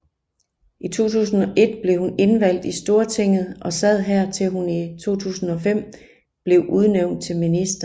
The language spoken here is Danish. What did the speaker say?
I 2001 blev hun indvalgt i Stortinget og sad her til hun i 2005 blev udnævnt til minister